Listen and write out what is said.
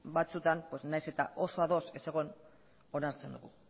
batzutan nahiz eta oso ados ez egon onartzen dugu